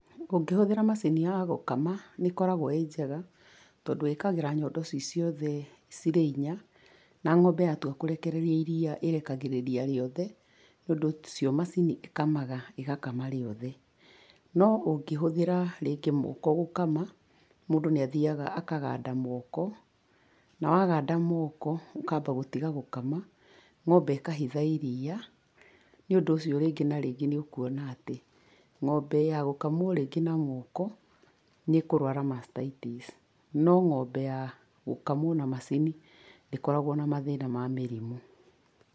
Ũngĩhũthĩra macini ya gũkama, nĩ ĩkoragwo ĩrĩ njega, tondũ ĩkagĩra nyondo ci ciothe cirĩ inya, na ng'ombe yatua kũrekereria iria ĩrekagĩrĩria rĩothe, nĩ ũndũ ũcio macini ĩkamaga, ĩgakama rĩothe. No ũngĩhũthĩra rĩngĩ moko gũkama, mũndũ nĩ athiaga akaganda moko, na waganda moko ũkamba gũtiga gũkama, ng'ombe ĩkahitha iria. Nĩ ũndũ ũcio rĩngĩ na rĩngĩ nĩ ũkuona atĩ, ng'ombe ya gũkamwo rĩngĩ na moko, nĩ ĩkũrwara mastaitis, no ng'ombe ya, gũkamwo na macini, ndĩkoragwo na mathĩna ma mĩrimũ.